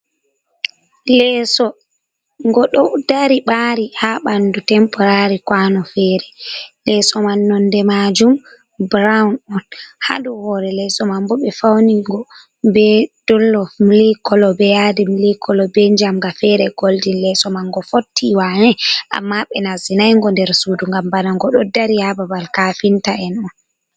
Leso ngo ɗo dari ɓari ha ɓandu temporari kwano fere. Leso man nonde majum brown on. Hado hore leso man bo ɓe faw ningo be dollof mili kolo, be yadi mili kolo, be njamga fere goldin. Leso man ngo fotti wane amma ɓe nasti nay ngo nder sudu, ngam bana ngo ɗo dari ha babal kafinta en on.